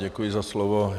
Děkuji za slovo.